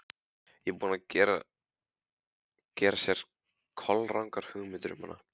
Hann er búinn að gera sér kolrangar hugmyndir um hana.